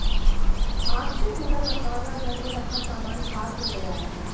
आग से पूरा मकान व घर में रखा सामान खाक हो गया है